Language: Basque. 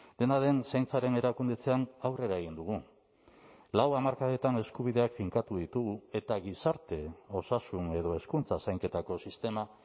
dena den zaintzaren erakundetzean aurrera egin dugu lau hamarkadetan eskubideak finkatu ditugu eta gizarte osasun edo hezkuntza zainketako sistema